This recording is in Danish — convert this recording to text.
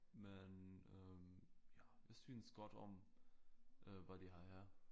Men øh ja jeg synes godt om øh hvad de har her